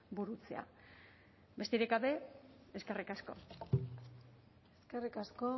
burutzea besterik gabe eskerrik asko eskerrik asko